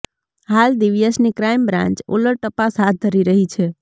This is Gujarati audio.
હાલ દિવ્યેશની ક્રાઈમ બ્રાન્ચ ઉલટ તપાસ હાથ ધરી રહી છે